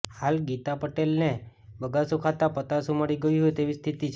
હાલ ગીતા પટેલને બગાસું ખાતા પતાસું મળી ગયું હોય તેવી સ્થિતિ છે